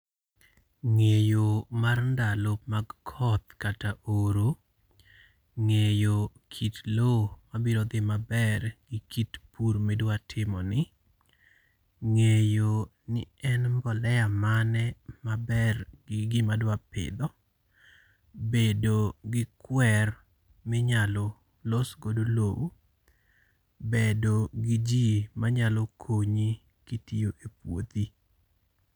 Ng'eyo mar ndalo mag koth kata oro. Ng'eyo kit lowo mabiro dhi maber gi kit pur ma idwa timoni. Ng'eyo ni en mbolea mane maber gi gima idwa pidho. Bedo gi kwer minyalo los godo lowo. Bedo gi ji manyalo konyi kitiyo e puothi.